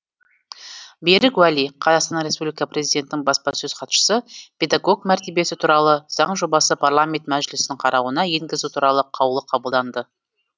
берік уәли қазақстан республикасы президентінің баспасөз хатшысы педагог мәртебесі туралы заң жобасы парламент мәжілісінің қарауына енгізу туралы қаулы қабылданды